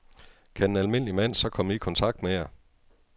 Kan en almindelig mand så komme i kontakt med jer?